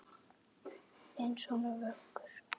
Þinn sonur, Vöggur.